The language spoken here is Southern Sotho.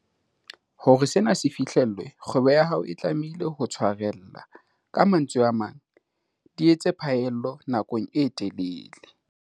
Hore sena se fihlellwe, kgwebo ya hao e tlamehile ho tshwarella. Ka mantswe a mang, di etse phaello nakong e telele.